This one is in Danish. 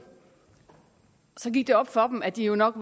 så gik det op for dem at de jo nok